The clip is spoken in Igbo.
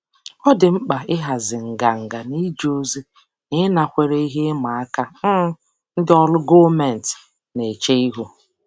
Ọ dị mkpa ịhazi nganga n'ije ozi na ịnakwere ihe ịma aka um ndị ọrụ gọọmentị na-eche ihu.